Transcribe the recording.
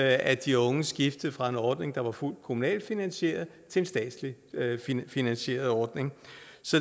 at de unge skifter fra en ordning der er fuldt kommunalt finansieret til en statsligt finansieret ordning